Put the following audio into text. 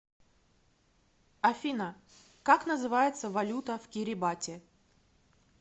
афина как называется валюта в кирибати